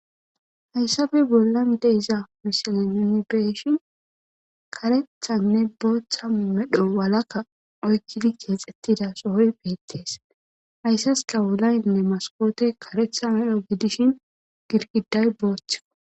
Hayssafe bollan deiza misilaninbeshin karethanne booththa medho walakka oykkidi ceexettida sohoy beettees hayssaskawulaynne maskoote karetha medho gidishin girkiday booththiko